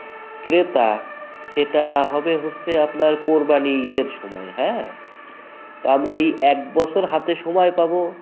ক্রেতা সেটা হবে হচ্ছে আপনার কোরবানির ঈদ এর সময় হ্যাঁ ? তো আমরা এই এক বছর হাতে সময় পাবো